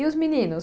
E os meninos?